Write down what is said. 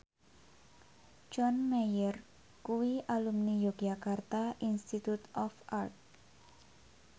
John Mayer kuwi alumni Yogyakarta Institute of Art